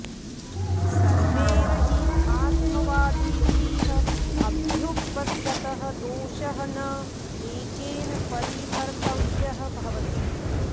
सर्वैर्हि आत्मवादिभिः अभ्युपगतः दोषः न एकेन परिहर्तव्यः भवति